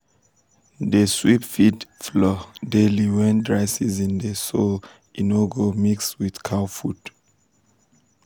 dey sweep feed um floor daily wen dry season dey so e um no go um mix with cow food.